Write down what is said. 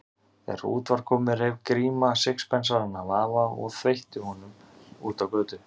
Þegar út var komið reif Gríma sixpensarann af afa og þveitti honum út á götu.